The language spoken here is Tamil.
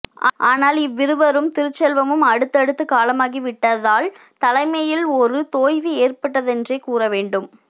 ஆனால் இவ்விருவரும் திருச்செல்வமும் அடுத்து அடுத்து காலமாகிவிட்டதால் தலைமையில் ஒரு தொய்வு ஏற்பட்டதென்றே கூறவேண்டும்